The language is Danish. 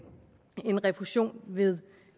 refusion ved